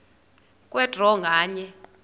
kwe draw nganye